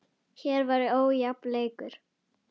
Hér var ójafn leikur.